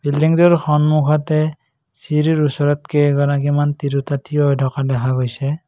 বিল্ডিংটোৰ সন্মুখতে চিৰিৰ ওচৰত কেইগৰাকীমান তিৰোতা থিয় হৈ থকা দেখা গৈছে।